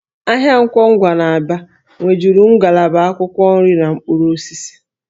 Ahịa Nkwọ Ngwa n'Aba nwejuru ngalaba akwụkwọ nri na mkpụrụ osisi